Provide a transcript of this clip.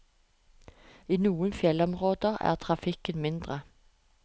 I noen fjellområder er trafikken mindre.